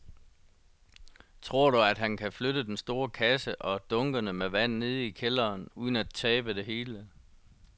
Tror du, at han kan flytte den store kasse og dunkene med vand ned i kælderen uden at tabe det hele?